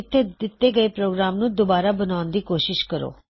ਇੱਥੇ ਦੱਸੇ ਪ੍ਰੋਗਰਾਮ ਨੂੰ ਦੁਬਾਰਾ ਬਣਾਉਣ ਦੀ ਕੋਸ਼ਿਸ ਕਰੋ